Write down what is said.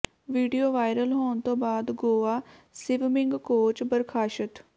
video viral ਹੋਣ ਤੋਂ ਬਾਅਦ ਗੋਆ ਸਿਵਮਿੰਗ ਕੋਚ ਬਰਖ਼ਾਸਤ